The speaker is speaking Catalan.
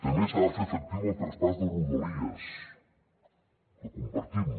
també s’ha de fer efectiu el traspàs de rodalies que compartim